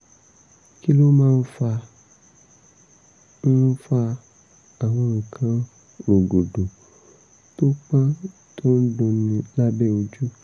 kí ló ń fa ń fa àwọn nǹkan rogodo tó pọ́n tó ń dunni lábẹ́ ojú?